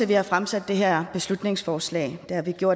vi har fremsat det her beslutningsforslag